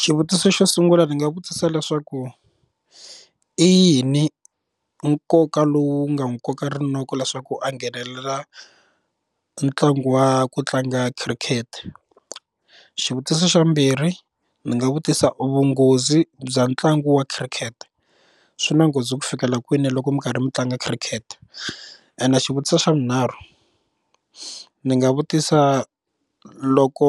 Xivutiso xo sungula ndzi nga vutisa leswaku i yini nkoka lowu nga n'wi koka rinoko leswaku a nghenelela ntlangu wa ku tlanga cricket, xivutiso xa vumbirhi ndzi nga vutisa vunghozi bya ntlangu wa khirikhete swi na nghozi ku fika la kwini loko mi karhi mi tlanga khirikete and xivutiso xa vunharhu ni nga vutisa loko